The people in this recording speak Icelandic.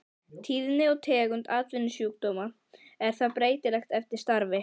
Tíðni og tegund atvinnusjúkdóma er því breytileg eftir starfi.